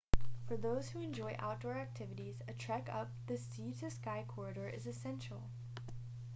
for those who enjoy outdoor activities a trek up the sea to sky corridor is essential